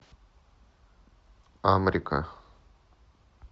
амрика